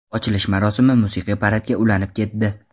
Ochilish marosimi musiqiy paradga ulanib ketdi.